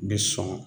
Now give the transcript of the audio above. Bɛ sɔn